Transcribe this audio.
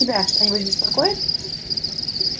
тебя что-нибудь беспокоит